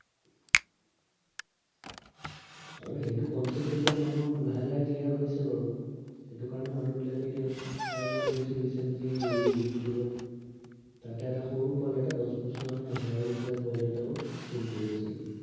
আৰু সেইটো concept টো এতিয়া মানুহৰ লাহে লাহে clear হৈছে বাৰু। মানে মানুহবিলাকে এতিয়া, এতিয়া মই দেখিছো recently ইউটিউবত তাতে এটা সৰু পোৱালি এটা দহ বছৰ নে এঘাৰ বছৰীয়া পোৱালী এটাও stream কৰি আছিলে।